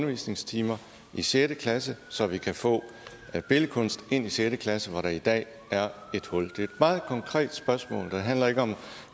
undervisningstimer i sjette klasse så vi kan få billedkunst ind i sjette klasse hvor der i dag er et hul et meget konkret spørgsmål det handler ikke om